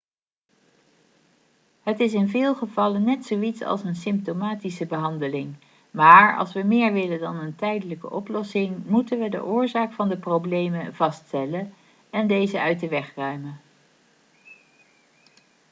het is in veel gevallen net zoiets als een symptomatische behandeling maar als we meer willen dan een tijdelijke oplossing moeten we de oorzaak van de problemen vaststellen en deze uit de weg ruimen